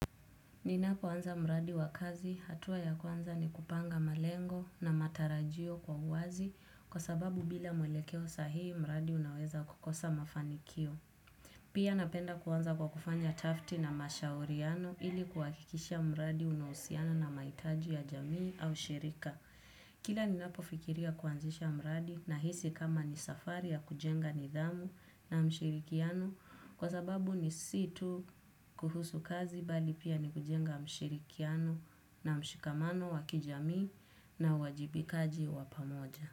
Ninapoanza mradi wa kazi, hatua ya kwanza ni kupanga malengo na matarajio kwa uwazi kwa sababu bila mwelekeo sahii mradi unaweza kukosa mafanikio. Pia napenda kuanza kwa kufanya tafti na mashauriano ili kuhakikisha mradi unahusiana na maitaji ya jamii au shirika. Kila ninapofikiria kuanzisha mradi nahisi kama ni safari ya kujenga nidhamu na mshirikiano kwa sababu ni si tu kuhusu kazi bali pia ni kujenga mshirikiano na mshikamano wa kijamii na uajibikaji wa pamoja.